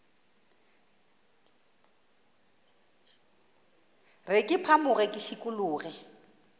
re ke phamoge ke šikologe